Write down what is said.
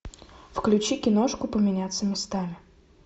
включи киношку поменяться местами